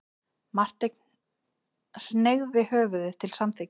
Marteinn hneigði höfðið til samþykkis.